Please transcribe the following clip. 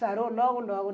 Sarou logo, logo.